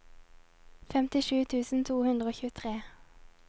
femtisju tusen to hundre og tjuetre